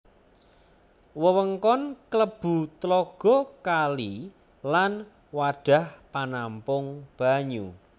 Wewengkon klebu tlaga kali lan wadhah panampung banyu